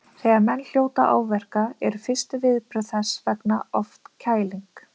Þegar menn hljóta áverka eru fyrstu viðbrögð þess vegna oft kæling.